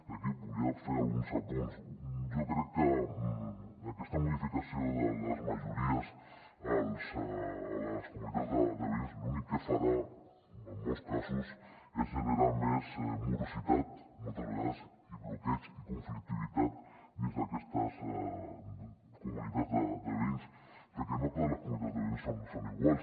i aquí volia fer alguns apunts jo crec que aquesta modificació de les majories a les comunitats de veïns l’únic que farà en molts casos és generar més morositat moltes vegades i bloqueig i conflictivitat dins d’aquestes comunitats de veïns perquè no totes les comunitats de veïns són iguals